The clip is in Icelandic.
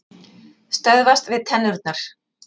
Stöðvast við tennurnar.